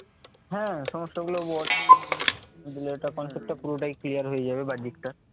হ্যাঁ সমস্যা গুলো বল এটা concept টা পুরোটাই clear হয়ে যাবে বাহ্যিকটা